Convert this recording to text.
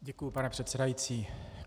Děkuji, pane předsedající.